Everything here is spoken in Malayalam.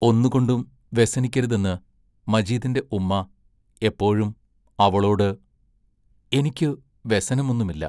ഒന്നുകൊണ്ടും വ്യസനിക്കരുതെന്ന് മജീദിന്റെ ഉമ്മാ എപ്പോഴും അവളോട് എനിക്ക് വ്യസനമൊന്നുമില്ല.